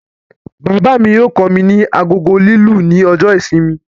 Bàbá mí yóò kọ mí ní agogo lilu ní ọjọ ìsinmi